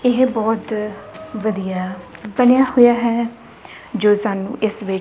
ਇਹ ਬਹੁਤ ਵਧੀਆ ਬਣਿਆ ਹੋਇਆ ਹੈ ਜੋ ਸਾਨੂੰ ਇਸ ਵਿੱਚ --